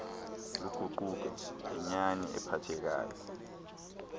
luguquke inyani ephathekayo